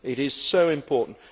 It is so important.